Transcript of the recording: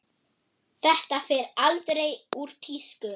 Það fer aldrei úr tísku.